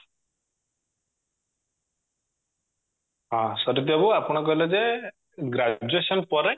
ହଁ ଶରିତ ବାବୁ ଆପଣ କହିଲେ ଯେ graduation ପରେ